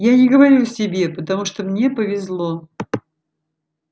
я не говорю о себе потому что мне повезло